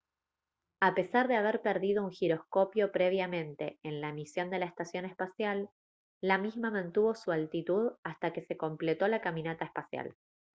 a pesar de haber perdido un giroscopio previamente en la misión de la estación espacial la misma mantuvo su altitud hasta que se completó la caminata espacial